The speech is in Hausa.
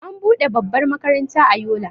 an bude babbar makaranta a Yola